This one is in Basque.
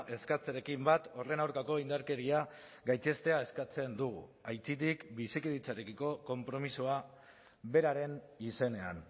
eskatzearekin bat horren aurkako indarkeria gaitzestea eskatzen dugu aitzitik bizikidetzarekiko konpromisoa beraren izenean